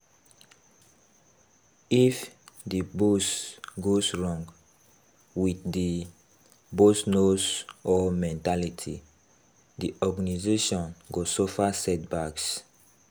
If di boss goes wrong, with the "boss knows all mentality", di organisation go suffer setbacks